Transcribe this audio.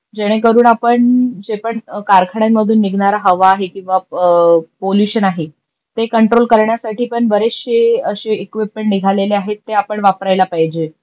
जेणे करून आपण जे पण कारखान्यामधून निघणारा हवा आहे किवा पोल्युशन आहे कंट्रोल करण्यासाठी पण बरेचशे अशे इक़्विपमेंट निघालेले आहेन ते आपण वापरायला पाहिजे